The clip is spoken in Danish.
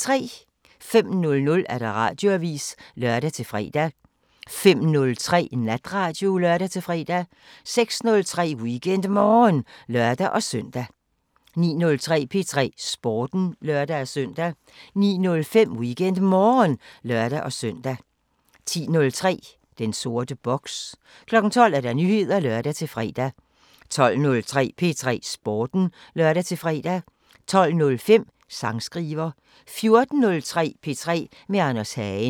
05:00: Radioavisen (lør-fre) 05:03: Natradio (lør-fre) 06:03: WeekendMorgen (lør-søn) 09:03: P3 Sporten (lør-søn) 09:05: WeekendMorgen (lør-søn) 10:03: Den sorte boks 12:00: Nyheder (lør-fre) 12:03: P3 Sporten (lør-fre) 12:05: Sangskriver 14:03: P3 med Anders Hagen